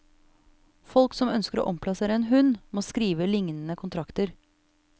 Folk som ønsker å omplassere en hund, må skrive lignende kontrakter.